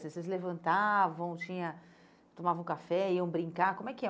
Vocês Vocês levantavam, tinha tomavam café, iam brincar, como é que é?